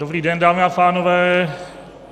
Dobrý den, dámy a pánové.